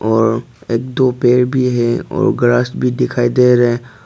और एक दो पेर भी है और ग्रास भी दिखाई दे रहे--